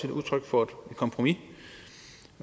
udtryk for et kompromis